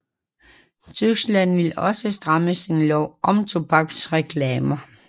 Tyskland vil også stramme sin lov om tobaksreklamer